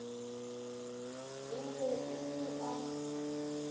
e be e le a